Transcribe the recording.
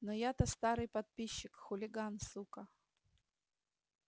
но я то старый подписчик хулиган сука